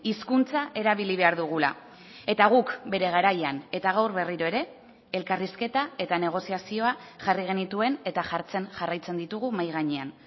hizkuntza erabili behar dugula eta guk bere garaian eta gaur berriro ere elkarrizketa eta negoziazioa jarri genituen eta jartzen jarraitzen ditugu mahai gainean